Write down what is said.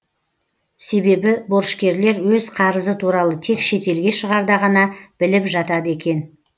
себебі борышкерлер өз қарызы туралы тек шетелге шығарда ғана біліп жатады екен